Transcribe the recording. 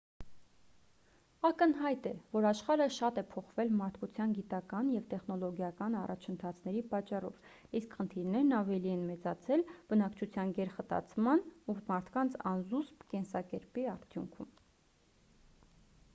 ակնհայտ է որ աշխարհը շատ է փոխվել մարդկության գիտական ու տեխնոլոգիական առաջընթացների պատճառով իսկ խնդիրներն ավելի են մեծացել բնակչության գերխտացման ու մարդկանց անզուսպ կենսակերպի արդյունքում